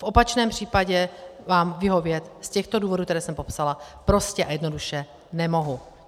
V opačném případě vám vyhovět z těchto důvodů, které jsem popsala, prostě a jednoduše nemohu.